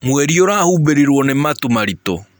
Mwerĩ ũrahũbĩrĩrwo nĩ matũ marĩtũ.